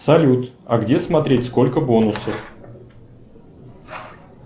салют а где смотреть сколько бонусов